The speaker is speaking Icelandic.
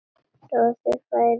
Roði færist í kinnar hans.